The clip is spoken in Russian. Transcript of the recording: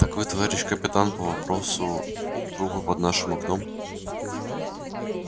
так вы товарищ капитан по вопросу трупа под нашим окном